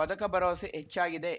ಪದಕ ಭರವಸೆ ಹೆಚ್ಚಾಗಿದೆ